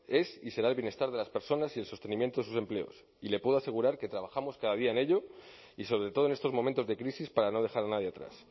es y será el bienestar de las personas y en sostenimiento de sus empleos y le puedo asegurar que trabajamos cada día en ello y sobre todo en estos momentos de crisis para no dejar a nadie atrás